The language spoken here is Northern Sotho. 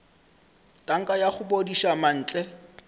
tanka ya go bodiša mantle